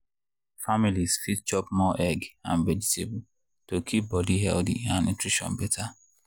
families fit chop more egg and vegetable to keep body healthy and nutrition better.